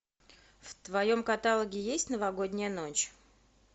в твоем каталоге есть новогодняя ночь